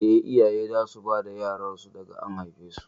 Eh, iyaye za su bar bada yaran su daga an haife su